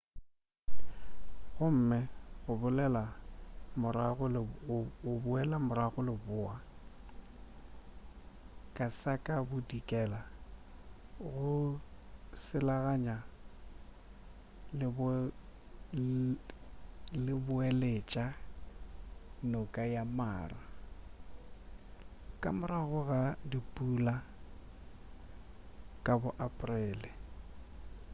gomme go boela morago leboa ka sa ka bodikela go selaganya leboeletša noka ya mara ka morago ga dipula ka bo aporele